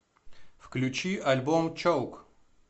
включи альбом чоук